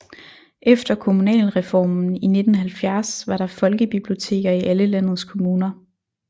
Efter kommunalreformen i 1970 var der folkebiblioteker i alle landets kommuner